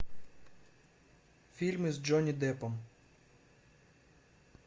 фильмы с джонни деппом